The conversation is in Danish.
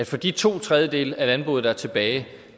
for de to tredjedele af landbruget der er tilbage